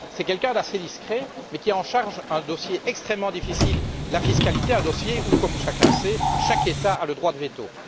C'est quelqu'un d'assez discret mais qui a en charge un dossier extrêmement difficile la fiscalité, dossier où, comme chacun sait, chaque État a le droit de veto.